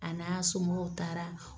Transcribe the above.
A n'a somɔgɔw taara